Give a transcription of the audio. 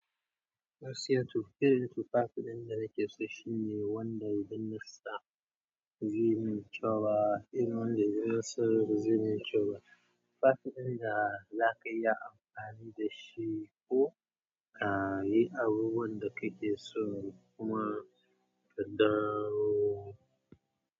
Gaskiya to, firintin fafadin da nake so shine wanda idan nasa zai yi mai kyau ba, in wanda idan sa zai yi mai kyau ba. Tufafi ɗin da zaka iya amfani da shi ko ka yi abubuwan da kake so kuma ka dawo.